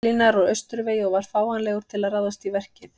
Berlínar úr austurvegi og var fáanlegur til að ráðast í verkið.